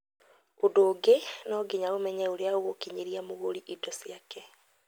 ũndũ ũngĩ no nginya ũmenye ũrĩa ũgũkinyĩria mũgũri indo ciake